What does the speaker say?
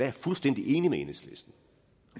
jeg fuldstændig enig med enhedslisten